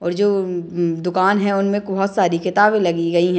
और जो उम्म दुकान है उनमें सारी किताबें लगी गई हैं।